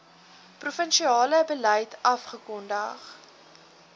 provinsiale beleid afgekondig